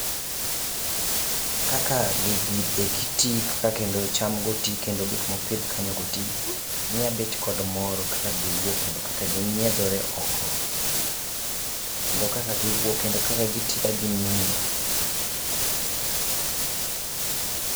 Kaka gigi eki tii ka kendo cham go tii kendo gik mopidh kanyo go tii, miya abet kod mor kaka giwuok kendo kaka ginyiedhore oko kendo kaka giwuok kendo kaka gitii ka gimiyo